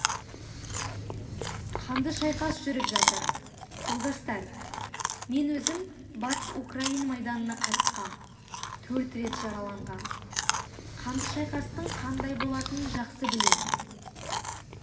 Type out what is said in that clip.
қанды шайқас жүріп жатыр жолдастар мен өзім батыс украин майданына қатысқам төрт рет жараланғам қанды шайқастың қандай болатынын жақсы білем